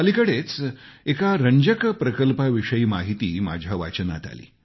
अलिकडेच एका रंजक प्रकल्पाविषयी माहिती माझ्या वाचनात आली